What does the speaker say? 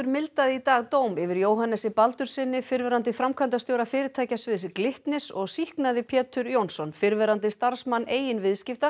mildaði í dag dóm yfir Jóhannesi Baldurssyni fyrrverandi framkvæmdastjóra fyrirtækjasviðs Glitnis og sýknaði Pétur Jónasson fyrrverandi starfsmann eigin viðskipta